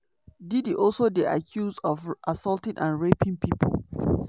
diddy also dey accused of assaulting and raping pipo.